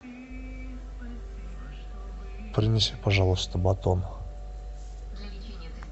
принеси пожалуйста батон